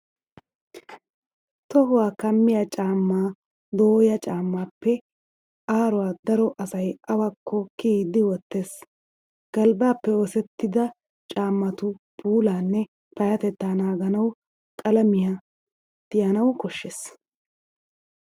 Tohuwaa kammiya caammaa dooya caammaappe aaruwaa daro asay awakko kiyiiddi wottees. Galbbaappe oosettida caammatu puulaanne payyatettaa naaganawu qalamiyaa tiyanawu koshshees.